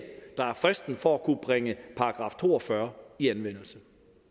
der er fristen for at kunne bringe § to og fyrre i anvendelse